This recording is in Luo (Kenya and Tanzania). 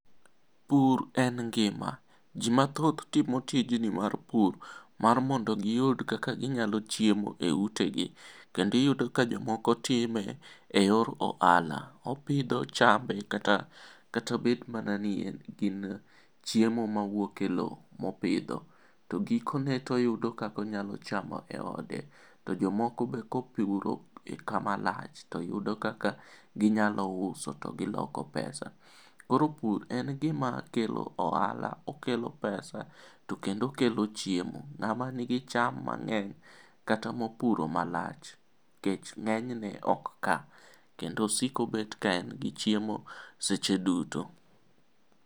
Pur en ngima, jii mathoth timo tijni mar pur mar mondo giyud kaka ginyalo chiemo e utegi. Kendo iyudo ka jomoko time e yor ohala .Opidho chambe kata obed mana ni gin chiemo mawuok e lowo ma opidho to gikone to oyudo kaka onyalo chamo e ode .To jomoko be kopuro i kama lach, to yudo kaka ginyalo uso to giloko pesa. Koro pur en gima kelo ohala, okelo pesa to kendo okelo chiemo.Ng'ama nigi cham mang'eny kata mopuro malach, kech ng'enyne ok kaa kendo osik obet ka en gi chiemo seche duto.